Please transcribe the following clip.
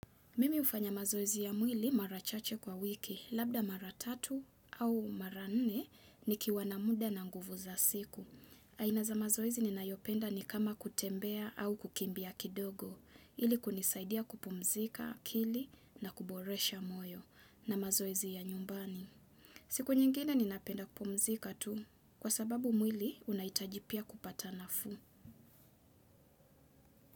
Mimi hufanya mazoezi ya mwili mara chache kwa wiki, labda mara tatu au mara nne nikiwa na muda na nguvu za siku. Aina za mazoezi ninayopenda ni kama kutembea au kukimbia kidogo, ili kunisaidia kupumzika, akili na kuboresha moyo na mazoezi ya nyumbani. Siku nyingine ninapenda kupumzika tu, kwa sababu mwili unahitaji pia kupata nafuu.